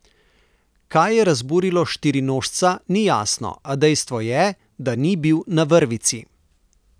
Kaj je razburilo štirinožca, ni jasno, a dejstvo je, da ni bil na vrvici.